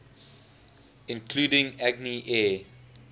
including agni air